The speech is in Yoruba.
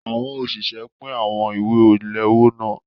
Àwọn òṣìṣẹ́ pín àwọn ìwé ìléwọ́ náà.